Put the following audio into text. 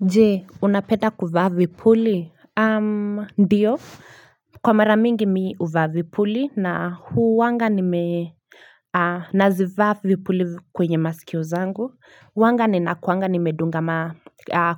Je, unapeda kuvaa vipuli? Ndio, kwa mara mingi mi uvaa vipuli na huwanga nime nazivaa vipuli kwenye masikio zangu huwanga ninakuanga nimedunga